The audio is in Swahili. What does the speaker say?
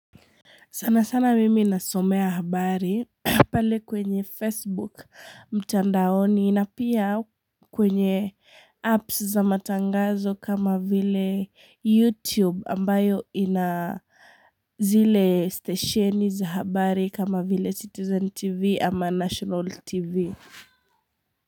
Sana sana mimi nasomea habari pale kwenye Facebook, mtandaoni na pia kwenye apps za matangazo kama vile YouTube ambayo ina zile stesheni za habari kama vile Citizen TV ama National TV.